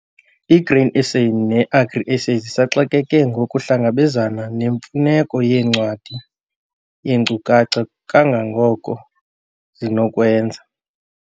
I-Grain SA ne-Agri SA zisaxakeke ngokuhlangabezana nemfuneko yencwadi yeenkcukacha kangangoko zinokwenza.